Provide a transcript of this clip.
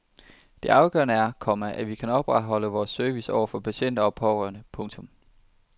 Det afgørende er, komma at vi kan opretholde vores service over for patienter og pårørende. punktum